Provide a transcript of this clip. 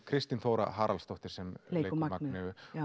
Kristín Þóra Haraldsdóttir sem leikur Magneu